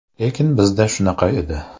Lekin bizda shunaqa edi.